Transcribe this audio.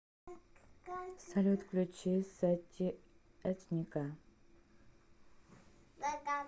салют включи сати этника